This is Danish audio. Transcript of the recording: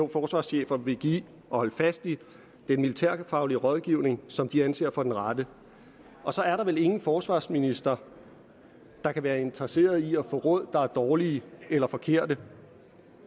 forsvarschefer vil give og holde fast i den militærfaglige rådgivning som de anser for den rette og så er der vel ingen forsvarsminister der kan være interesseret i at få råd der er dårlige eller forkerte